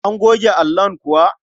An goge allon kuwa?